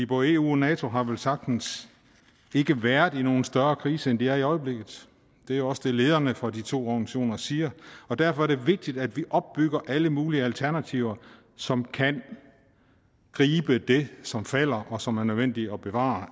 både eu og nato har velsagtens ikke været i nogen større krise end de er i i øjeblikket det er også det lederne fra de to organisationer siger derfor er det vigtigt at vi opbygger alle mulige alternativer som kan gribe det som falder og som er nødvendigt at bevare